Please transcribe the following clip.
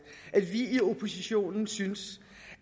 at vi i oppositionen synes